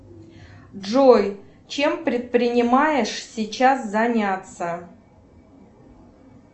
джой чем предпринимаешь сейчас заняться